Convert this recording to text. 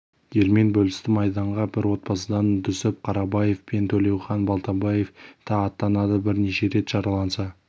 елмен бөлісті майданға бір отбасыдан дүсіп қарабаев пен төлеухан балтабаев та аттанады бірнеше рет жараланса